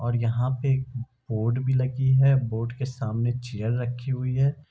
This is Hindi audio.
और यहां पर बोड भी लगी है बोड के सामने चेयर रखी हुई है।